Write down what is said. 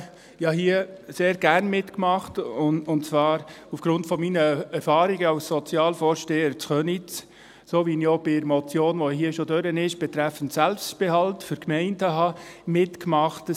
Ich habe hier sehr gerne mitgemacht und zwar aufgrund meiner Erfahrungen als Sozialvorsteher in Köniz, so wie ich auch bei der Motion betreffend Selbstbehalt für die Gemeinden mitgemacht habe, die hier schon durchgegangen ist.